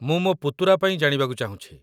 ମୁଁ ମୋ ପୁତୁରା ପାଇଁ ଜାଣିବାକୁ ଚାହୁଁଛି